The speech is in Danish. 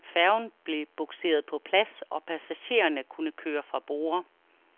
Færgen blev bugseret på plads, og passagererne kunne køre fra borde.